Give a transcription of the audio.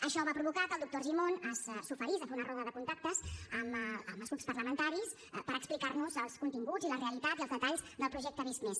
això va provocar que el doctor argimon s’oferís a fer una roda de contactes amb els grups parlamentaris per explicar nos els continguts i la realitat i els detalls del projecte visc+